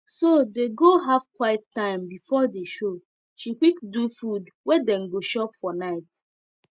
so dey go have quite time b4 the show she quick do food wey dem go chop for night